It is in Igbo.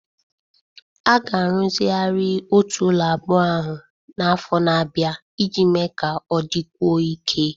A ga-arụzigharị Otu ụlọ abụọ ahụ n'afọ na-abịa iji mee ka ọ dịkwuo ike